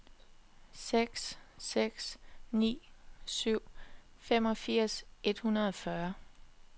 seks seks ni syv femogfirs et hundrede og fyrre